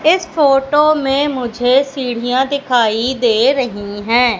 इस फोटो में मुझे सीढ़ियां दिखाई दे रही हैं।